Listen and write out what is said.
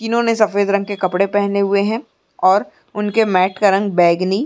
इन्होने सफ़ेद रंग के कपडे पहने हुए हैं और उनके मेट का रंग बैगनी --